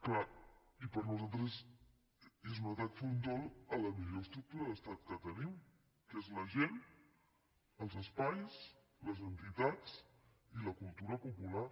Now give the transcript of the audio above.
clar i per nosaltres és un atac frontal a la millor estructura d’estat que tenim que és la gent els espais les entitats i la cultura popular